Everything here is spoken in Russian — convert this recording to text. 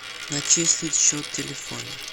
начислить счет телефона